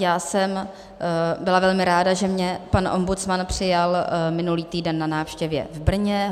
Já jsem byla velmi ráda, že mě pan ombudsman přijal minulý týden na návštěvě v Brně.